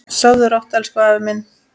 Sofðu rótt elsku afi minn.